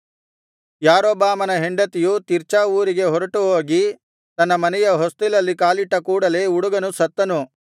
ಯಾರೊಬ್ಬಾಮನ ಹೆಂಡತಿಯು ತಿರ್ಚಾ ಊರಿಗೆ ಹೊರಟುಹೋಗಿ ತನ್ನ ಮನೆಯ ಹೊಸ್ತಿಲಲ್ಲಿ ಕಾಲಿಟ್ಟ ಕೂಡಲೇ ಹುಡುಗನು ಸತ್ತನು